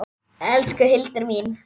Elsku Hildur mín.